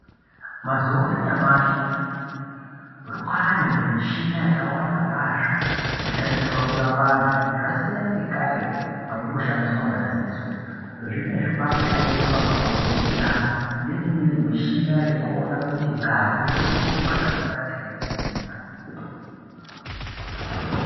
Mazuwa anyamashi kwane michini yakawanda kwazvo inoshandiswa kurapa vanthu zvasiyana nekare kwaingoshandiswa madziso, zvinezvi kwakushandiswa makombuyuta neimweni mishina yekuona kuti ngazi irikurumba zvakanaka ere mutsinga.